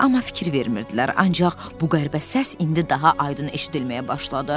Amma fikir vermirdilər, ancaq bu qəribə səs indi daha aydın eşidilməyə başladı.